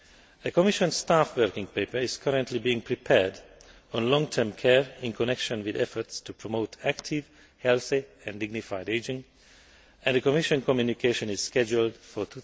A Commission staff working paper is currently being prepared on long term care in connection with efforts to promote active, healthy and dignified ageing, and a Commission communication is scheduled for